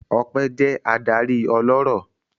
Ọpẹ́ jẹ́ adarí ọlọ́rọ̀.